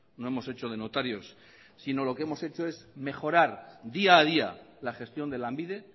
no hemos hecho de notarios sino lo que hemos hecho es mejorar día a día la gestión de lanbide